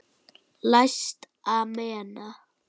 Læst amena.